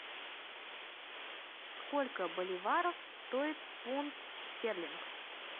сколько боливаров стоит фунт стерлинг